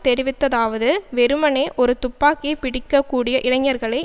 தெரிவித்ததாவது வெறுமனே ஒரு துப்பாக்கியை பிடிக்க கூடிய இளைஞர்களை